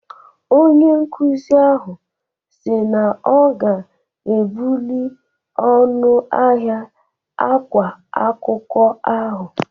Onye nkuzi ahụ si na ọ ga-ebuli ọnụ ahịa ákwá akwụkwọ ahụ.